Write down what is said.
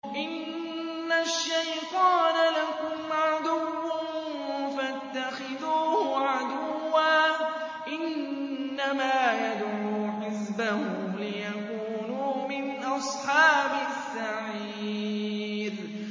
إِنَّ الشَّيْطَانَ لَكُمْ عَدُوٌّ فَاتَّخِذُوهُ عَدُوًّا ۚ إِنَّمَا يَدْعُو حِزْبَهُ لِيَكُونُوا مِنْ أَصْحَابِ السَّعِيرِ